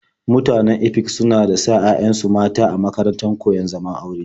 Mutanen Efik suna da sa 'ya'yansu mata a makarantar koyon zaman aure.